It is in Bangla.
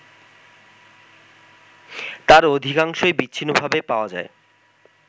তার অধিকাংশই বিচ্ছিন্নভাবে পাওয়া যায়